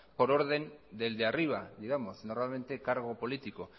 por orden del de arriba digamos normalmente cargo político